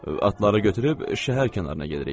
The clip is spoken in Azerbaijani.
Atları götürüb şəhər kənarına gedirik.